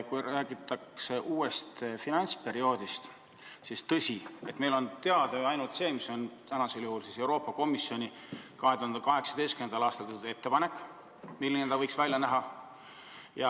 Kui räägitakse uuest finantsperioodist, siis meile on teada ju ainult Euroopa Komisjoni 2018. aastal tehtud ettepanek selle kohta, milline see võiks välja näha.